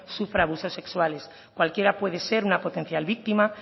sufra abusos sexuales cualquiera puede ser una potencial víctima